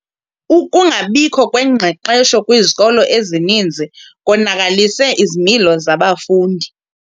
Ukungabikho kwengqeqesho kwizikolo ezininzi konakalise izimilo zabafundi.